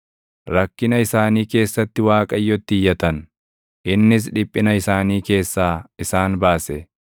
Rakkina isaanii keessatti Waaqayyotti iyyatan; innis dhiphina isaanii keessaa isaan baase.